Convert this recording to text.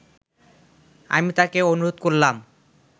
আমি তাকে অনুরোধ করলাম